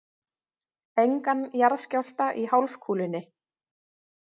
Engan jarðskjálfta í hálfkúlunni.